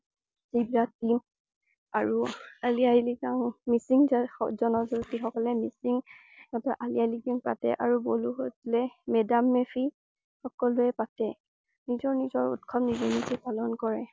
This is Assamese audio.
আৰু আলিয়াইলিগাং মিচিং জন~জনগো্ঠী সকলে মিচিং সিহঁতৰ আলিমাইলিগাং পাতে আৰু বড়ো সকলে মে দাম মে ফি সকলোৱে পাতে। নিজৰ নিজৰ উৎসৱ নিজে নিজে পালন কৰে।